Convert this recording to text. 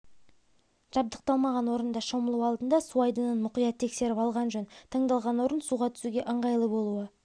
жабдықталмаған орында шомылу алдында су айдынын мұқият тексеріп алған жөн таңдалған орын суға түсуге ыңғайлы болуы